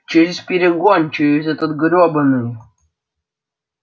через перегон через этот грёбаный